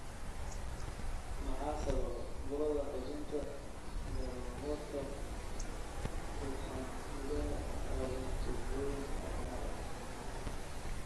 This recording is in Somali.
Maxaa sababa burada xudunta galmoodka ugxan-sidaha oo leh tuubooyin annular ah?